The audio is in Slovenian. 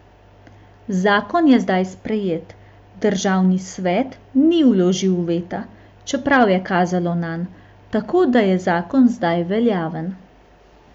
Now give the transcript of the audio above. Zakon je zdaj sprejet, državni svet ni vložil veta, čeprav je kazalo nanj, tako da je zakon zdaj veljaven.